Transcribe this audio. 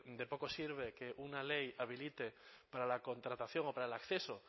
de poco sirve que una ley habilite para la contratación o para el acceso